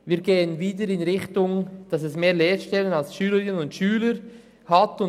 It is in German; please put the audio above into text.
Erstens geht die Entwicklung wieder dahin, dass es mehr Lehrstellen als Schülerinnen und Schüler geben wird.